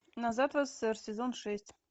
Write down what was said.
назад в ссср сезон шесть